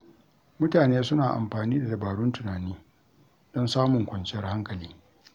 Mutane suna amfani da dabarun tunani don samun kwanciyar hankali.